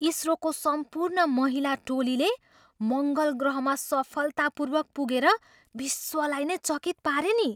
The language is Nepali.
इसरोको सम्पूर्ण महिला टोलीले मङ्गल ग्रहमा सफलतापूर्वक पुगेर विश्वलाई नै चकित पारे नि।